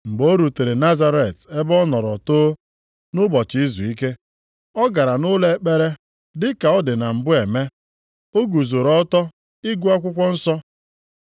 Mgbe o rutere Nazaret ebe ọ nọrọ too, nʼụbọchị izuike, ọ gara nʼụlọ ekpere dị ka ọ dị mbụ eme. O guzoro ọtọ ịgụ akwụkwọ nsọ.